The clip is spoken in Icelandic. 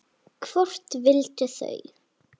Hvort vildu þau?